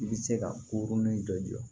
I bɛ se ka koronin dɔ jɔ